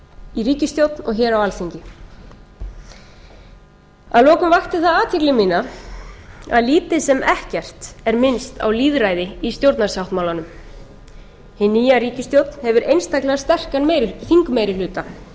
í ríkisstjórn og hér á alþingi að lokum vakti það athygli mína að lítið sem ekkert er minnst á lýðræði í stjórnarsáttmálanum hin nýja ríkisstjórn hefur einstaklega sterkan þingmeirihluta eins og